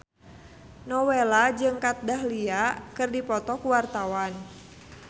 Nowela jeung Kat Dahlia keur dipoto ku wartawan